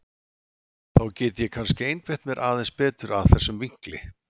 Þá get ég kannski einbeitt mér aðeins betur að þessum vinkli.